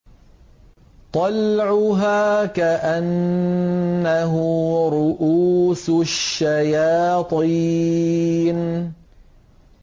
طَلْعُهَا كَأَنَّهُ رُءُوسُ الشَّيَاطِينِ